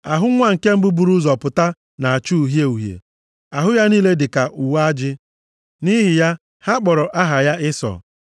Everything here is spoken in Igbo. Ahụ nwa nke mbụ buru ụzọ pụta na-acha uhie uhie, ahụ ya niile dịka uwe ajị. Nʼihi ya, ha kpọrọ aha ya Ịsọ.